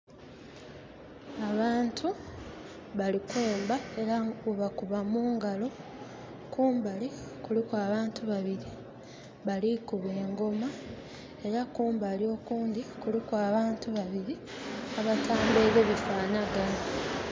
Abantu bali kwemba era bwebakuba mu ngalo, kumbali kuliku abantu babiri, balikuba engoma, era kumbali okundhi kuliku abantu babiri abata'mbaile bifanhaganha.